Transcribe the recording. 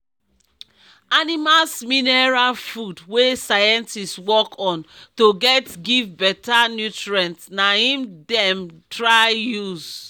animals mineral food wey scientist work on to get give better nutrients na im dem try use